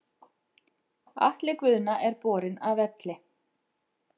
Atli Guðna er borinn af velli.